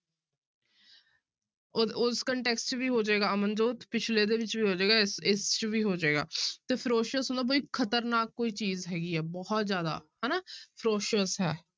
ਉਹ ਉਸ ਵੀ ਹੋ ਜਾਏਗਾ ਅਮਨਜੋਤ ਪਿੱਛਲੇ ਦੇ ਵਿੱਚ ਵੀ ਹੋ ਜਾਏਗਾ ਇਸ ਇਸ 'ਚ ਵੀ ਹੋ ਜਾਏਗਾ ਤੇ ferocious ਹੁੰਦਾ ਵੀ ਖ਼ਤਰਨਾਕ ਕੋਈ ਚੀਜ਼ ਹੈਗੀ ਹੈ ਬਹੁਤ ਜ਼ਿਆਦਾ ਹਨਾ ferocious ਹੈ।